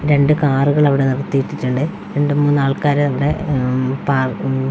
രണ്ട് കാറുകള് അവിടെ നിർത്തിയിട്ടുണ്ട് രണ്ട് മൂന്ന് ആൾക്കാരവിടെ മ് പാ മ് .